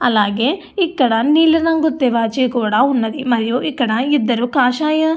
అలాగే ఇక్కడ నీలి రంగు తివాచి కూడా ఉన్నది అలాగే ఇక్కడ ఇద్దరు కాషాయ--